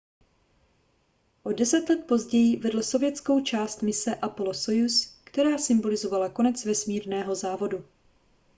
o deset let později vedl sovětskou část mise apollo-sojuz která symbolizovala konec vesmírného závodu